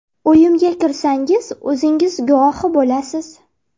Uyimizga kirsangiz, o‘zingiz guvohi bo‘lasiz.